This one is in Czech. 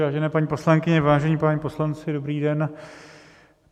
Vážené paní poslankyně, vážení páni poslanci, dobrý den.